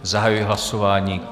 Zahajuji hlasování.